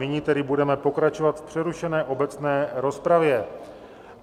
Nyní tedy budeme pokračovat v přerušené obecné rozpravě.